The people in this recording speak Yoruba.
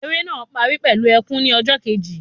Eré náà parí pẹlú ẹkùn ni ọjọ Kejì